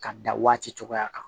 Ka dan waati cogoya kan